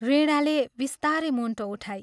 वीणाले बिस्तारै मुण्टो उठाई।